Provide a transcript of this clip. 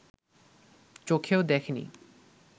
চোখেও দেখে নি